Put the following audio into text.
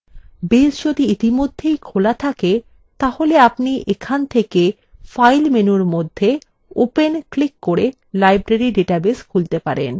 base যদি ইতিমধ্যেই খোলা থাকে তাহলে আপনি এখান থেকে file menu মধ্যে open ক্লিক করে library ডাটাবেস খুলতে পারেন